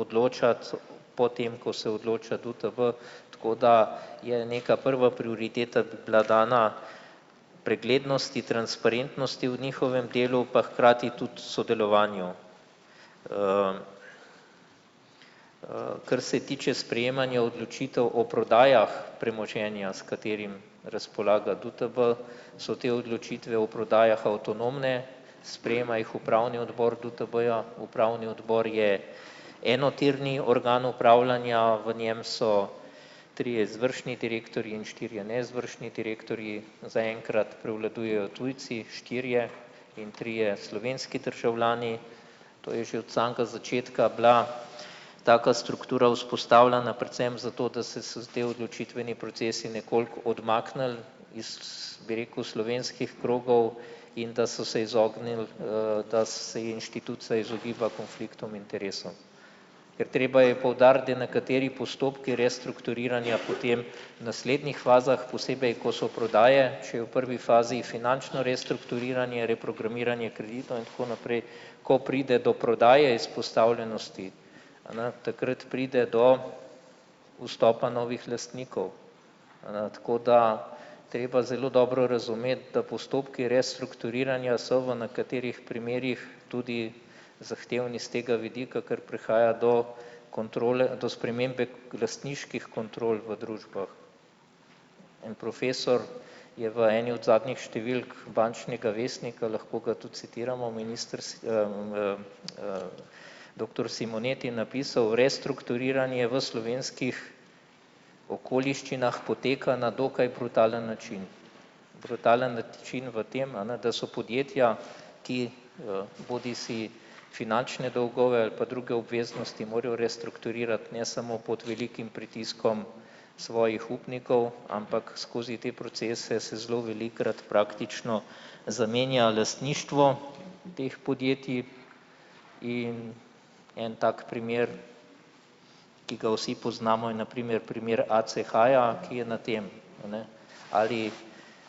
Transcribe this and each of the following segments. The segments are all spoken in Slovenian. odločati, potem ko se odloča DUTB, tako da je neka prva prioriteta bila dana preglednosti, transparentnosti o njihovem delu pa hkrati tudi sodelovanju. Kar se tiče sprejemanja odločitev o prodajah premoženja, s katerim razpolaga DUTB, so te odločitve o prodajah avtonomne, sprejema jih upravni odbor DUTB-ja, upravni odbor je enotirni organ upravljanja, v njem so trije izvršni direktorji in štirje neizvršni direktorji, zaenkrat prevladujejo tujci, štirje in trije slovenski državljani, to je že od samega začetka bila taka struktura vzpostavljena predvsem zato, da se te odločitveni procesi nekoliko odmaknili iz, bi rekel, slovenskih krogov in da so se izognili, da se inštitut se izogiba konfliktom interesom. Ker treba je poudariti, da nekateri postopki restrukturiranja potem naslednjih fazah posebej, ko so prodaje, če je v prvi fazi finančno restrukturiranje, reprogramiranje kreditov in tako naprej, ko pride do prodaje izpostavljenosti, a n takrat pride do vstopa novih lastnikov. A ne, tako da treba zelo dobro razumeti, da postopki restrukturiranja so v nekaterih primerih tudi zahtevni s tega vidika, ker prihaja do kontrole, do spremembe lastniških kontrol v družbah. En profesor je v eni od zadnjih številk Bančnega vestnika, lahko ga tudi citiramo v v doktor Simoneti je napisal: "Restrukturiranje v slovenskih okoliščinah poteka na dokaj brutalen način." Brutalen način v tem, a ne, da so podjetja, ki, bodisi finančne dolgove ali pa druge obveznosti morajo restrukturirati ne samo pod velikim pritiskom svojih upnikov, ampak skozi te procese se zelo velikokrat praktično zamenja lastništvo teh podjetij in en tak primer, ki ga vsi poznamo je na primer primer ACH-ja, ki je na tem, a ne, ali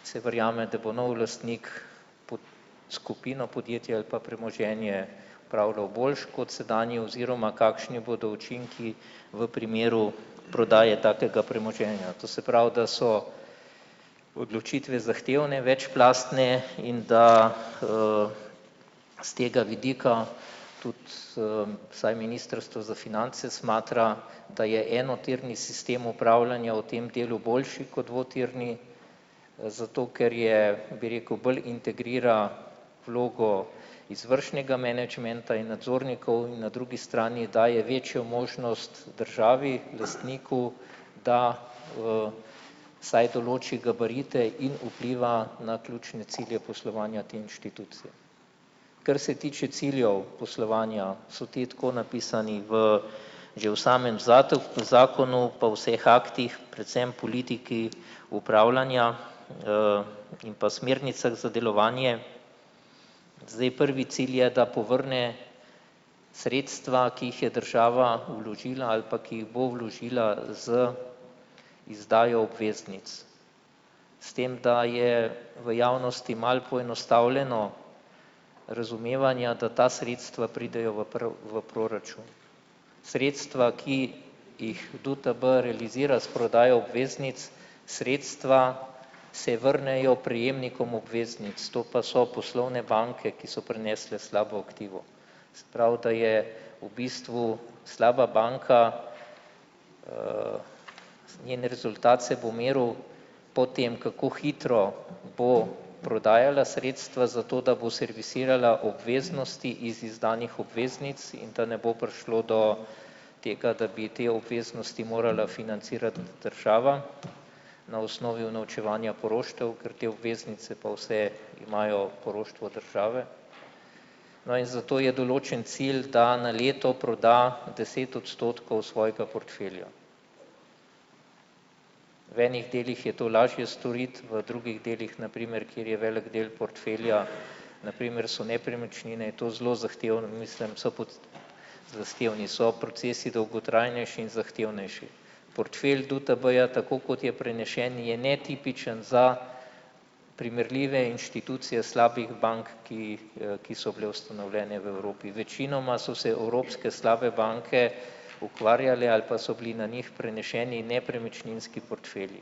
se verjame, da bo nov lastnik skupino podjetja ali pa premoženje upravljal boljše kot sedanji oziroma kakšni bodo učinki v primeru prodaje takega premoženja. To se pravi, da so odločitve zahtevne, večplastne in da, s tega vidika tudi, saj ministrstvo za finance smatra, da je enotirni sistem upravljanja v tem delu boljši kot dvotirni, zato ker je, bi rekel, bolj integrira vlogo izvršnega menedžmenta in nadzornikov in na drugi strani daje večjo možnost državi, lastniku, da, saj določi gabarite in vpliva na ključne cilje poslovanja te institucije. Kar se tiče ciljev poslovanja, so ti tako napisani v že v samem zakonu pa vseh aktih predvsem politiki upravljanja, in pa smernicah za delovanje. Zdaj, prvi cilj je, da povrne sredstva, ki jih je država vložila ali pa ki jih bo vložila z izdajo obveznic. S tem, da je v javnosti malo poenostavljeno razumevanja, da ta sredstva pridejo v v proračun. Sredstva, ki jih DUTB realizira s prodajo obveznic, sredstva se vrnejo prejemnikom obveznic, to pa so poslovne banke, ki so prenesle slabo aktivo. Se pravi, da je v bistvu slaba banka, njen rezultat se bo meril po tem, kako hitro bo prodajala sredstva zato, da bo servisirala obveznosti iz izdanih obveznic in da ne bo prišlo do tega, da bi te obveznosti morala financirati država na osnovi unovčevanja poroštev, ker te obveznice pa vse imajo poroštvo države. No, in zato je določen cilj da na leto proda deset odstotkov svojega portfelja. V enih delih je to lažje storiti, v drugih delih na primer, kjer je velik del portfelja, na primer so nepremičnine, je to zelo zahtevno, mislim, so pod zahtevni so procesi, dolgotrajnejši in zahtevnejši. Portfelj DUTB-ja, tako kot je prenesen, je netipičen za primerljive inštitucije slabih bank, ki, ki so bile ustanovljene v Evropi, večinoma so se evropske slabe banke ukvarjale ali pa so bili na njih prenešeni nepremičninski portftelji.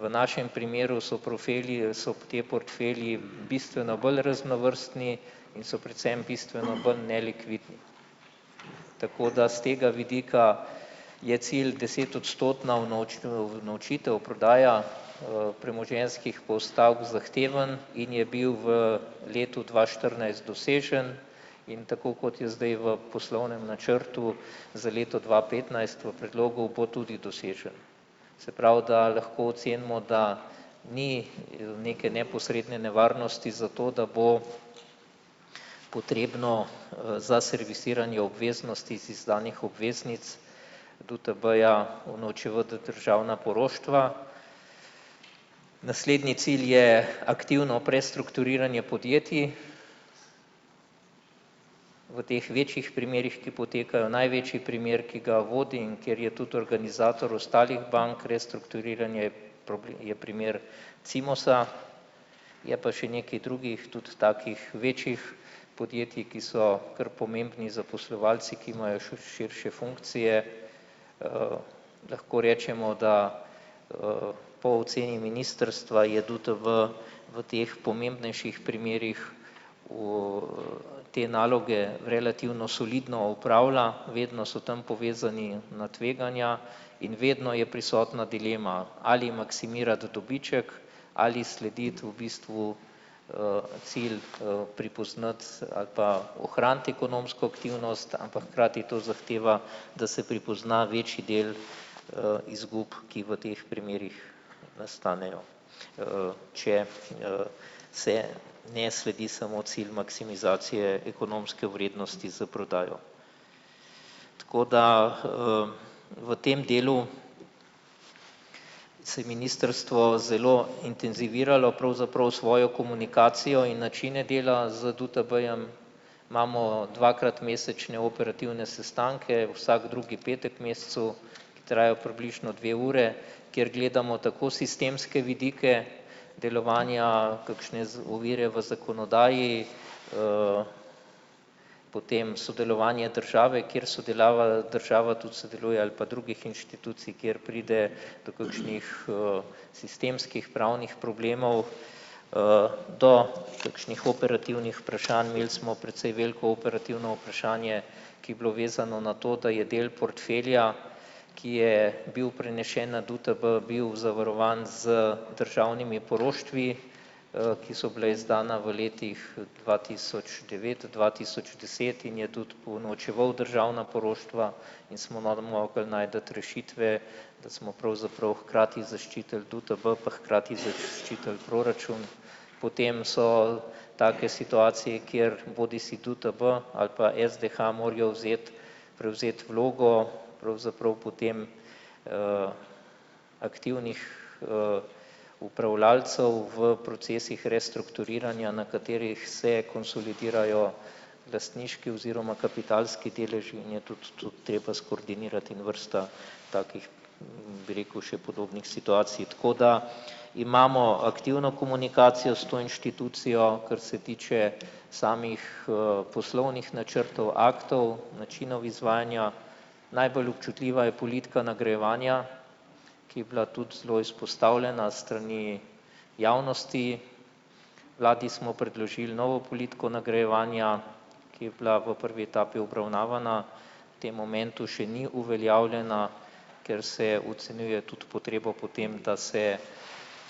V našem primeru so portfelji, so ti portfelji bistveno bolj raznovrstni in so predvsem bistveno bolj nelikvidni. Tako da s tega vidika je cilj desetodstotna unovčitev prodaja, premoženjskih postavk zahtevan in je bil v letu dva štirinajst dosežen, in tako kot je zdaj v poslovnem načrtu za leto dva petnajst v predlogu, bo tudi dosežen. Se pravi, da lahko ocenimo, da ni neke neposredne nevarnosti zato, da bo potrebno, za servisiranje obveznosti z izdanih obveznic DUTB-ja unovčevati državna poroštva. Naslednji cilj je aktivno prestrukturiranje podjetij v teh večjih primerih, ki potekajo, največji primer, ki ga vodi, ker je tudi organizator ostalih bank, restrukturiranje je primer Cimosa, je pa še nekaj drugih tudi takih večjih podjetij, ki so kar pomembni zaposlovalci, ki imajo širše funkcije, lahko rečemo, da, po oceni ministrstva je DUTB v teh pomembnejših primerih te naloge relativno solidno opravlja, vedno so tam povezani na tveganja in vedno je prisotna dilema, ali maksimirati dobiček, slediti v bistvu, cilj, prepoznati ali pa ohraniti ekonomsko aktivnost, ampak hkrati to zahteva, da se prepozna večji del, izgub, ki v teh primerih nastanejo, če, se ne sledi samo cilj maksimizacije ekonomske vrednosti za prodajo. Tako da, v tem delu se ministrstvo zelo intenziviralo pravzaprav svojo komunikacijo in načine dela z DUTB-jem, imamo dvakrat mesečne operativne sestanke vsak drugi mescu, ki trajajo približno dve ure, ker gledamo tako sistemske vidike delovanja, kakšne z ovire v zakonodaji, potem sodelovanje države, kjer sodelava država tudi sodeluje, ali pa drugih inštitucij, kjer pride do kakšnih, sistemskih pravnih problemov, do kakšnih operativnih vprašanj, imeli smo precej veliko operativno vprašanje, ki je bilo vezano na to, da je del portfelja, ki je bil prenešen na DUTB, bil zavarovan z državnimi poroštvi, ki so bila izdana v letih dva tisoč devet-dva tisoč deset in je tudi pounovčeval državna poroštva in smo mogli najti rešitve, da smo pravzaprav hkrati zaščitili DUTB pa hkrati zaščitili proračun, potem so take situacije, kjer bodisi DUTB ali pa SDH morajo vzeti, prevzeti vlogo pravzaprav potem, aktivnih, upravljavcev v procesih restrukturiranja, na katerih se konsolidirajo lastniški oziroma kapitalski deleži in je tudi to treba skoordinirati in vrsta takih, bi rekel, še podobnih situacij. Tako da imamo aktivno komunikacijo s to inštitucijo, kar se tiče samih, poslovnih načrtov, aktov načinov izvajanja. Najbolj občutljiva je politika nagrajevanja, ki bila tudi zelo izpostavljena strani javnosti. Vladi smo predložili novo politiko nagrajevanja ki je bila v prvi etapi obravnavana, tem momentu še ni uveljavljena, ker se ocenjuje tudi potrebo po tem, da se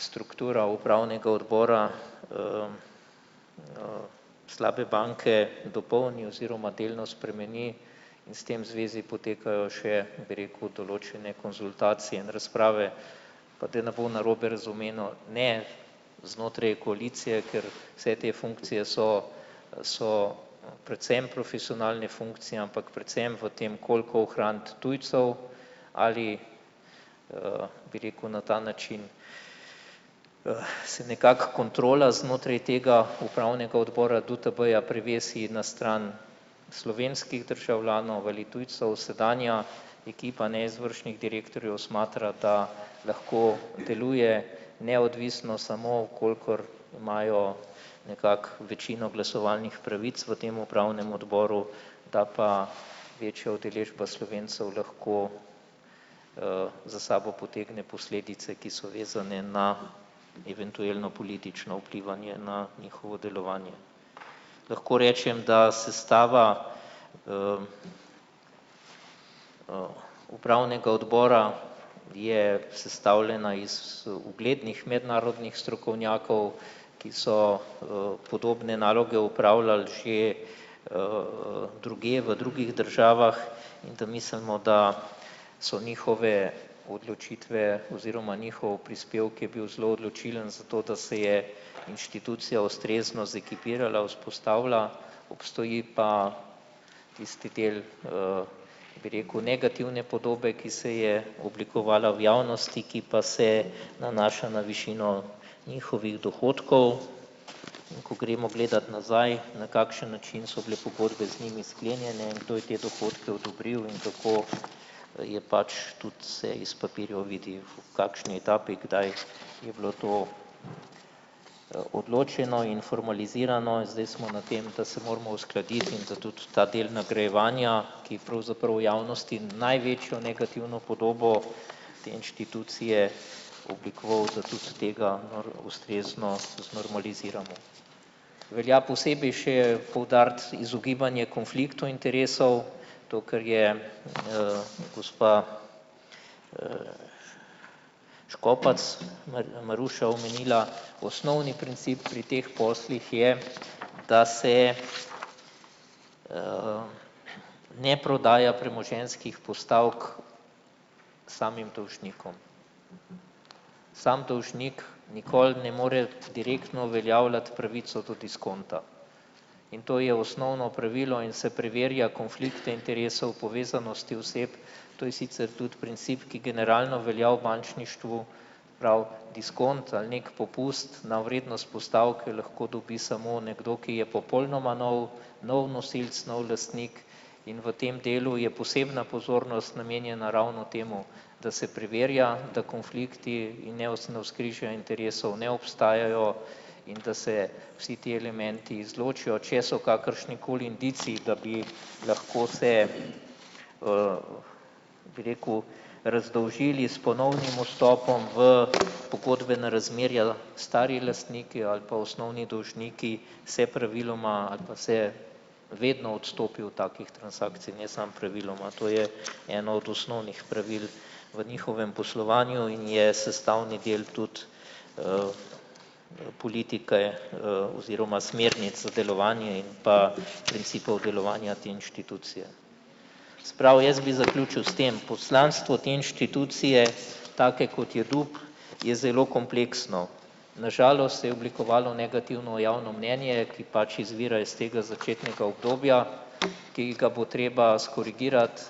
struktura upravnega odbora, slabe banke dopolni oziroma delno spremeni in s tem zvezi potekajo še, bi rekel, določene konzultacije in razprave, pa da ne bo narobe razumljeno, ne, znotraj koalicije, ker se te funkcije so so predvsem profesionalne funkcije, ampak predvsem v tem, koliko ohraniti tujcev, ali bi rekel, na ta način, se nekako kontrola znotraj tega upravnega odbora DUTB-ja prevesi na stran slovenskih državljanov veli tujcev, sedanja ekipa neizvršnih direktorjev smatra, da lahko deluje neodvisno samo, v kolikor imajo nekako večino glasovalnih pravic v tem upravnem odboru, da pa večja udeležba Slovencev lahko, za sabo potegne posledice, ki so vezane na eventuelno politično vplivanje na njihovo delovanje. Lahko rečem, da sestava, upravnega odbora je sestavljena iz uglednih mednarodnih strokovnjakov, ki so, podobne naloge opravljali že, drugje v drugih državah in da mislimo, da so njihove odločitve oziroma njihov prispevek je bil zelo odločilen zato, da se je inštitucija ustrezno zekipirala, vzpostavila, obstoji pa tisti del, bi rekel, negativne podobe, ki se je oblikovala v javnosti, ki pa se nanaša na višino njihovih dohodkov, in ko gremo gledat nazaj, na kakšen način so bile pogodbe z njimi sklenjene in kdo je te dohodke odobril in kako je pač tudi se iz papirjev vidi, v kakšni etapi kdaj je bilo to, odločeno in formalizirano, zdaj smo na tem, da se moramo uskladiti in da tudi ta del nagrajevanja, ki pravzaprav javnosti največjo negativno podobo te institucije oblikoval, da tudi tega ustrezno znormaliziramo. Velja posebej še poudariti izogibanje konfliktov interesov, to, kar je, gospa, Škopac Maruša omenila, osnovni princip pri teh poslih je, da se, ne prodaja premoženjskih postavk samim dolžnikom. Samo dolžnik nikoli ne more direktno uveljavljati pravico do diskonta. In to je osnovno pravilo in se preverja konflikte interesov povezanosti oseb, to je sicer tudi princip, ki generalno velja v bančništvu, prav diskont ali neki popust na vrednost postavke lahko dobi samo nekdo, ki je popolnoma nov nov nosilec, nov lastnik in v tem delu je posebna pozornost namenjena ravno temu, da se preverja, da konflikti interesov ne obstajajo in da se vsi ti elementi izločijo, če so kakršnikoli indici, da bi lahko se, bi rekel, razdolžili s ponovnim vstopom v pogodbena razmerja. Stari lastniki ali pa osnovni dolžniki se praviloma ali pa se vedno odstopi od takih transakcij, ne samo praviloma, to je eno od osnovnih pravil v njihovem poslovanju in je sestavni del tudi, politike, oziroma smernic sodelovanja in pa principov delovanja te institucije. Se pravi, jaz bi zaključil s tem poslanstvom te institucije, take, kot je DUTB, je zelo kompleksno, na žalost se je oblikovalo negativno javno mnenje, ki pač izvira iz tega začetnega obdobja, ki ga bo treba skorigirati,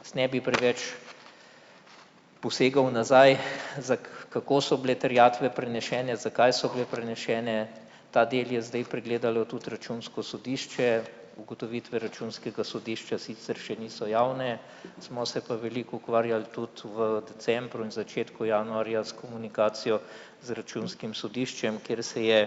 jaz ne bi preveč posegal nazaj kako so bile terjatve prenesene, zakaj so bile prenesene, ta del je zdaj pregledalo tudi računsko sodišče. Ugotovitve računskega sodišča sicer še niso javne, smo se pa veliko ukvarjali tudi v decembru in začetku januarja s komunikacijo z računskim sodiščem, kjer se je,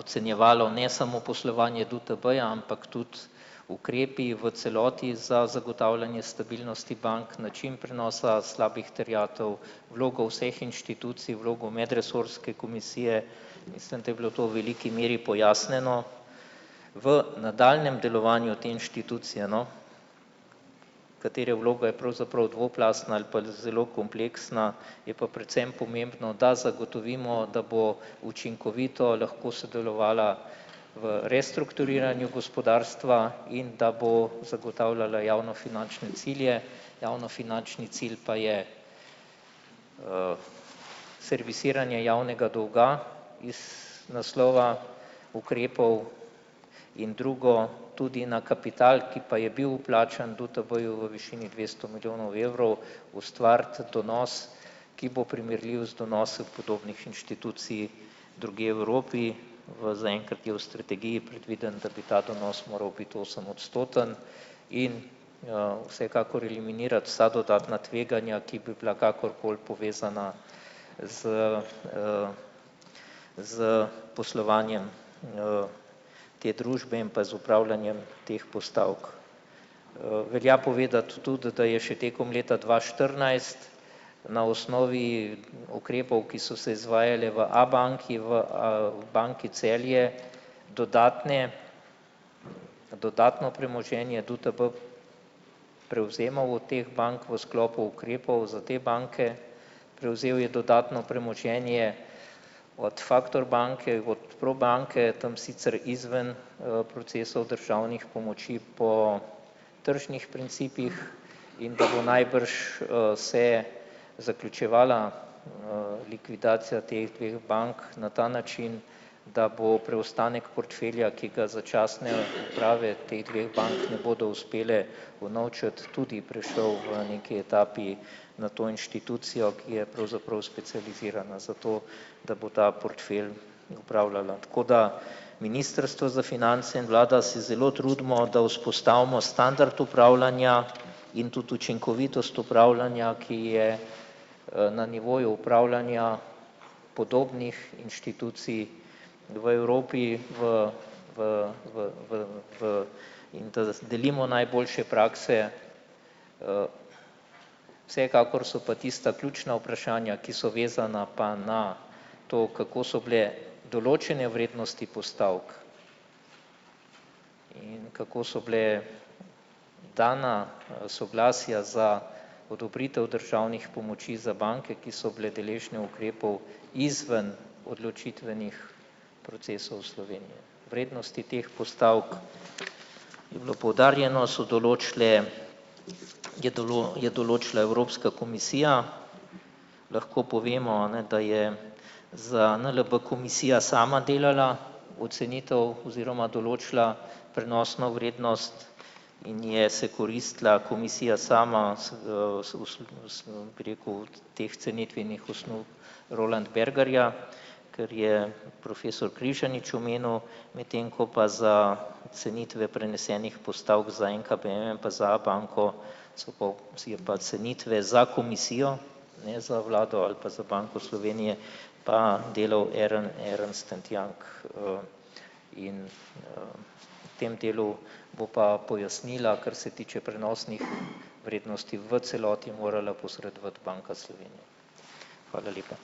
ocenjevalo ne samo poslovanje DUTB-ja ampak tudi ukrepi v celoti za zagotavljanje stabilnosti bank, način prenosa slabih terjatev, vlogo vseh inštitucij, vlogo medresorske komisije, mislim, da je bilo to v veliki meri pojasnjeno. V nadaljnjem delovanju te institucije, no, katere vloga je pravzaprav dvoplastna ali pa zelo kompleksna, je pa predvsem pomembno, da zagotovimo, da bo učinkovito lahko sodelovala v restrukturiranju gospodarstva in da bo zagotavljala javnofinančne cilje, javnofinančni cilj pa je, servisiranje javnega dolga iz naslova ukrepov in drugo tudi na kapital, ki pa je bil vplačan DUTB-ju v višini dvesto milijonov evrov, ustvariti donos ki bo primerljiv z donosi podobnih inštitucij drugje Evropi, v zaenkrat je v strategiji predvideno, da bi ta donos moral biti osemodstoten in, vsekakor eliminirati vsa dodatna tveganja, ki bi bila kakorkoli povezana s, s poslovanjem, te družbe in pa z opravljanjem teh postavk. Velja povedati tudi, da je še tekom leta dva štirinajst na osnovi ukrepov, ki so se izvajali v Abanki, v Banki Celje, dodatne dodatno premoženje DUTB prevzema od teh bank v sklopu ukrepov za te banke, prevzel je dodatno premoženje od Factor banke, od Probanke, tam sicer izven, procesov državnih pomoči po tržnih principih in da bo najbrž se zaključevala, likvidacija teh dveh bank na ta način, da bo preostanek portfelja, ki ga začasne uprave teh dveh bank ne bodo uspele unovčiti, tudi prešel v neki etapi na to inštitucijo, ki je pravzaprav specializirana za to, da bo za portfelj upravljala. Tako da ministrstvo za finance in vlada se zelo trudimo, da vzpostavimo standard upravljanja in tudi učinkovitost opravljanja, ki je, na nivoju upravljanja podobnih inštitucij v Evropi v v v v v in da delimo najboljše prakse. Vsekakor so pa tista ključna vprašanja, ki so vezana pa na to, kako so bile določene vrednosti postavk in kako so bila dana, soglasja za odobritev državnih pomoči za banke, ki so bile deležne ukrepov izven odločitvenih procesov Slovenije. Vrednosti teh postavk, je bilo poudarjeno, so določile je je določila Evropska komisija. Lahko povemo, a ne, da je za NLB Komisija sama delala ocenitev oziroma določila prenosno vrednost in je se koristila Komisija sama, bi rekel, od teh cenitvenih osnov Roland Bergarja, kar je profesor Križanič omenil, medtem ko pa za ocenitve prenesenih postavk za NKBM in pa za Abanko so pa si je pa cenitve za Komisijo, ne za vlado ali pa za Banko Slovenije, pa delal Ernst and Young, in, tem delu bo pa pojasnila, kar se tiče prenosnih vrednosti v celoti, morala posredovati Banka Slovenije. Hvala lepa.